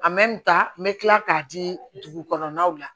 n bɛ kila k'a di dugukɔnɔnaw la